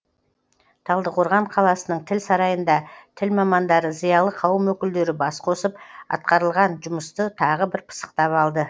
талдықорған қаласының тіл сарайында тіл мамандары зиялы қауым өкілдері бас қосып атқарылған жұмысты тағы бір пысықтап алды